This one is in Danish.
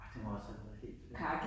Ej det må også have været helt øh